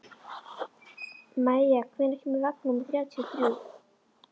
Maia, hvenær kemur vagn númer þrjátíu og þrjú?